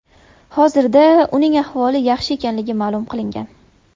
Hozirda uning ahvoli yaxshi ekanligi ma’lum qilingan.